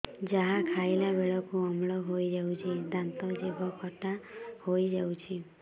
ଯାହା ଖାଇଲା ବେଳକୁ ଅମ୍ଳ ହେଇଯାଉଛି ଦାନ୍ତ ଜିଭ ଖଟା ହେଇଯାଉଛି